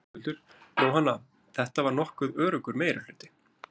Höskuldur: Jóhanna, þetta var nokkuð öruggur meirihluti?